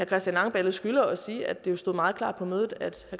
christian langballe skylder at sige at det stod meget klart på mødet at